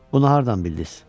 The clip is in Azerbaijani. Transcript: Bunu hardan bildiz?